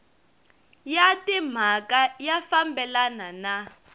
ya timhaka ya fambelana na